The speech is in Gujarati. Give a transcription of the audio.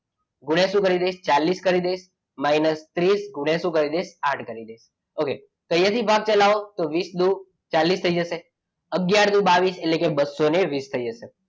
ગુણયા શું કરી દઈએ ચાલીસ કરી દઈએ minus ત્રીસ ગુણ્યા શું કરી દઈએ આઠ કરી દઈ. okay તો અહીંયા થી ભાગ ચલાવો તો વીસ ગુણ્યા બસો ચાલીસ થઇ જશે. અગિયાર દૂ બાવીસ એટલે કે બસો વીસ થઈ જશે.